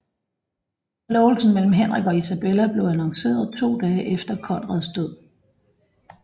Forlovelsen mellem Henrik og Isabella blev annonceret to dage efter Konrads død